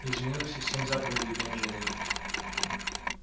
изменилось ли семь заповедей бенджамин